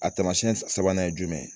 A tamasiyɛn sabanan ye jumɛn ye